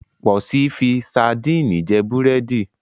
Pọ̀si fi sadíìnì jẹ búrẹ́dì.